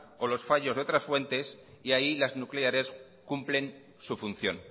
o los fallos de otras fuentes y ahí las nucleares cumplen su función